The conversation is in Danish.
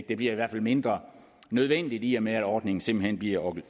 bliver mindre nødvendigt i og med at ordningen simpelt hen bliver